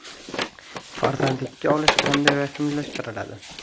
Farzandlikka olish qanday rasmiylashtiriladi?